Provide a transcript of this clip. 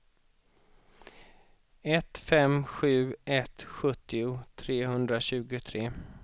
ett fem sju ett sjuttio trehundratjugotre